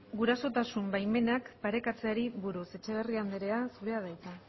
gurasotasun baimenak parekatzeari buruz etxeberria andrea zurea da hitza